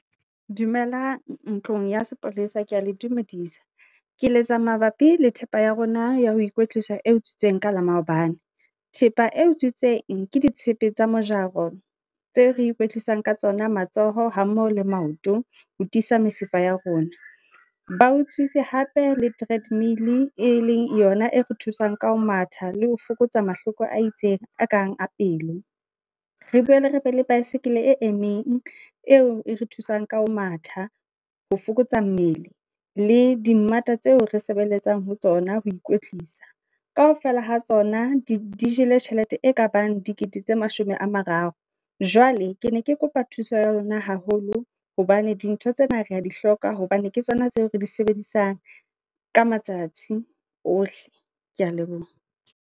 Dumela ntlong ya sepolesa, Ke ya le dumedisa, Ke letsa mabapi le thepa ya rona, ya ho ikwetlisa, e utswitsweng ka la maobane, Thepa e utswitsweng ke ditshepe tsa mojaro, tseo re ikwetlisa ka tsona matsoho ha mmoho le maoto. Ho tisa mesifa ya rona, bao utswitse hape le tread mill e leng yona e re thusang ka ho matha, le ho fokotsa mahloko a itseng a kang a pelo. Re boele re pele baesekele e emeng, eo e re thusang ka ho matha, ho fokotsa mmele, le dimmata tseo resebeletsang ho tsona, ho ikwetlisa. Kaofela ha tsona, di jele tjhelete e ka bang dikete tse mashome a mararo. Jwale ke ne ke kopa thuso ya lona haholo, hobane dintho tsena rea dihloka, hobane ke tsona tseo re di sebedisang, ka matsatsi ohle, Kea leboha.